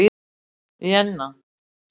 Jenna